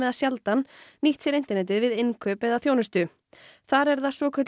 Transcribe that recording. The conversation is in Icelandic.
sjaldan nýtt sér internetið við innkaup eða þjónustu þar er það svokölluð